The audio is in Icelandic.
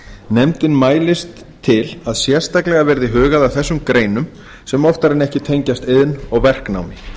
nefndin mælist til að sérstaklega verði hugað að þessum greinum sem oftar en ekki tengjast iðn og verknámi